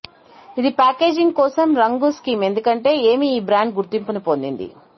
ఇది ప్యాకేజింగ్ కోసం రంగు స్కీమ్ ఎందుకంటే ఏమి ఈ బ్రాండ్ గుర్తింపుని పొందింది